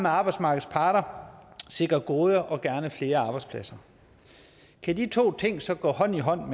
arbejdsmarkedets parter sikre gode og gerne flere arbejdspladser kan de to ting så gå hånd i hånd